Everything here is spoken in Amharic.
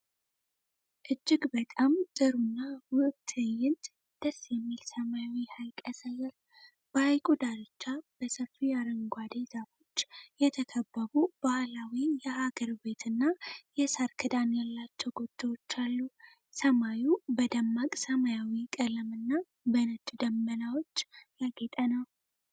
እጅግ በጣም ጥሩና ውብ ትዕይንት ደስ የሚል ሰማያዊ ሐይቅ ያሳያል። በሐይቁ ዳርቻ በሰፊ አረንጓዴ ዛፎች የተከበቡ ባህላዊ የአገር ቤትና የሳር ክዳን ያላቸው ጎጆዎች አሉ። ሰማዩ በደማቅ ሰማያዊ ቀለም እና በነጭ ደመናዎች ያጌጠ ነው።